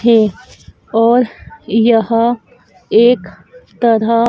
थे और यह एक तरह--